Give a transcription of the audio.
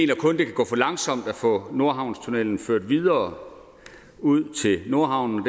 det kun kan gå for langsomt med at få nordhavnstunnellen ført videre ud til nordhavn